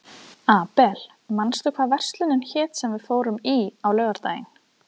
Abel, manstu hvað verslunin hét sem við fórum í á laugardaginn?